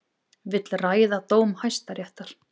Vill ræða dóm Hæstaréttar